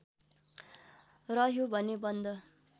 रह्यो भने बन्द